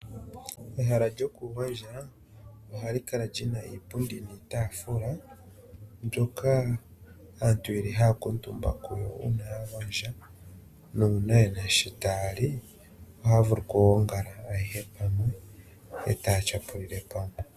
Ehala lyokugondja ohali kala lina iipundi niitaafula mbyoka aantu yeli haya kuutumbako uuna ya gondja nuuna yena sho taya li ohaya vulu okugongala ayehe pamwe etaya tyapulile pamwe.